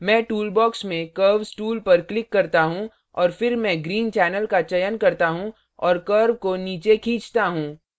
मैं tool box में curves tool पर click करता हूँ और फिर मैं green channel का चयन करता हूँ और curves को नीचे खींचता हूँ